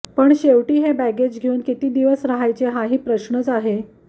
पण शेवटी हे बॅगेज घेऊन किती दिवस रहायचे हाही प्रश्न आहेच